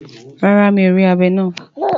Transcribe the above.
Rara, mi or ri abé naa